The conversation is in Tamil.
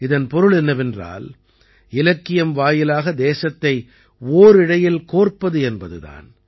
இதன் பொருள் என்னவென்றால் இலக்கியம் வாயிலாக தேசத்தை ஓரிழையில் கோர்ப்பது என்பது தான்